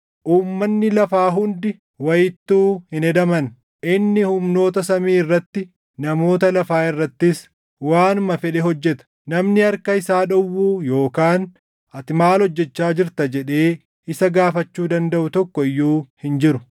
Uummanni lafaa hundi wayittuu hin hedaman. Inni humnoota samii irratti, namoota lafaa irrattis, waanuma fedhe hojjeta. Namni harka isaa dhowwuu yookaan “Ati maal hojjechaa jirta?” jedhee isa gaafachuu dandaʼu tokko iyyuu hin jiru.